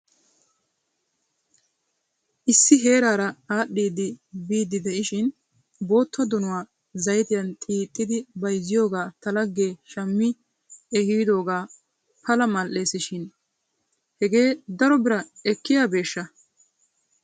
Issi heeraara aadhdhidi biiddi de'ishin bootta donuwaa zaytiyan xiixidi bayzziyoogaa ta lagee shami ehiidoogee pala mal"es shin hegee faro biraa ekkiyaabeeshsha?